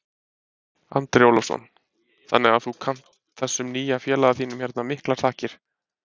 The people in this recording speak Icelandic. Andri Ólafsson: Þannig að þú kannt þessum nýja félaga þínum hérna miklar þakkir?